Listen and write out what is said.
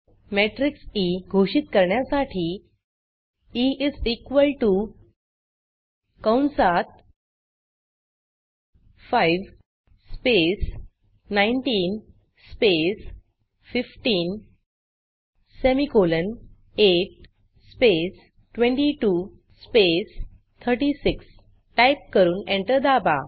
matrix E घोषित करण्यासाठी E is equal T O कंसात 5 space 19 space 15 semicolon 8 space 22 space 36 type करून एंटर दाबा